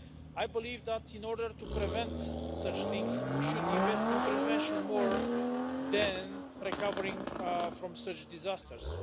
I believe that, in order to prevent such things, we should invest in prevention more than recovering from such disasters.